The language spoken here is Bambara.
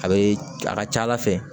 A be a ka ca ala fɛ